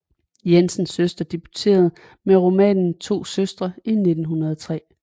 Jensens søster debuterede med romanen To Søstre i 1903